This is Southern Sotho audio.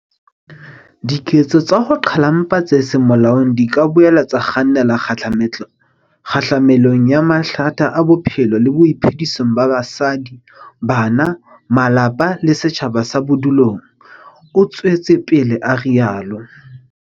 Diketso tsa ho qhalwa ha mpa tse seng molaong di ka boela tsa kgannela kgahlamelong ya mathata a maphelong le boiphedisong ba basadi, bana, malapa le setjhaba sa bodulong, o tswetse pele a rialo.